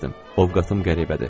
Ovqadım qəribədir.